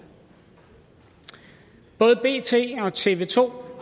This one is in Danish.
både bt og tv to